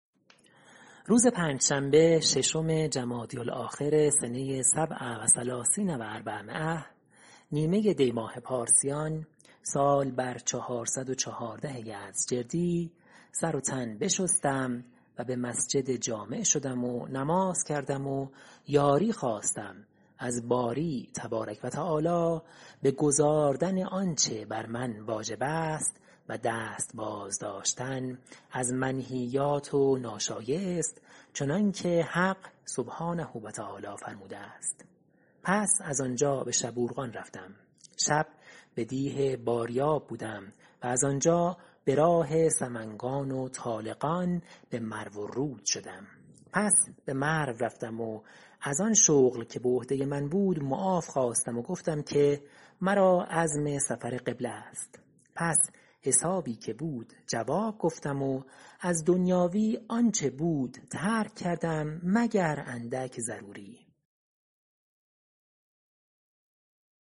روز پنجشنبه ششم جمادی الآخر سنه سبع و ثلثین و اربعمایه ۴٣٧ نیمه دی ماه پارسیان سال بر چهارصد و چهارده یزدجردی سر و تن بشستم و به مسجد جامع شدم و نماز کردم و یاری خواستم از باری تبارک و تعالی به گزاردن آنچه بر من واجب است و دست باز داشتن از منهیات و ناشایست چنان که حق سبحانه و تعالی فرموده است پس از آنجا به شبورغان رفتم شب به دیه باریاب بودم و از آنجا به راه سمنگان و طالقان به مروالرود شدم پس به مرو رفتم و از آن شغل که به عهده من بود معاف خواستم و گفتم که مرا عزم سفر قبله است پس حسابی که بود جواب گفتم و از دنیاوی آنچه بود ترک کردم مگر اندک ضروری